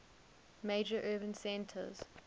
major urban centers